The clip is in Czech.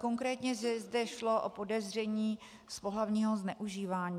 Konkrétně zde šlo o podezření z pohlavního zneužívání.